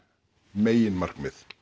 meginmarkmið